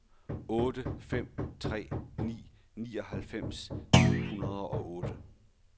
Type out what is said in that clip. otte fem tre ni nioghalvfems ni hundrede og otte